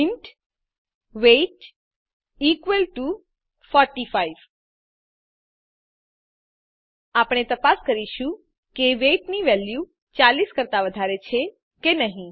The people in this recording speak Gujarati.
ઇન્ટ વેઇટ ઇકવલ ટુ 45 આપણે તપાસ કરીશું કે વેઇટ ની વેલ્યુ 40 કરતાં વધારે છે કે નહી